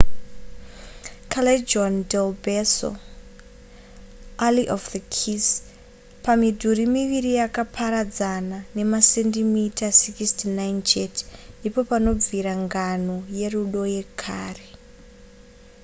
callejon del beso alley of the kiss. pamidhuri miviri yakaparadzana nemasendimita 69 chete ndipo panobvira ngano yerudo yekare